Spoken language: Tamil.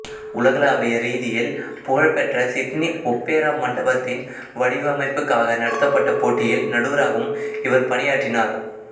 உலகளாவிய ரீதியில் புகழ்பெற்ற சிட்னி ஒப்பேரா மண்டபத்தின் வடிவமைப்புக்காக நடத்தப்பட்ட போட்டியில் நடுவராகவும் இவர் பணியாற்றினார்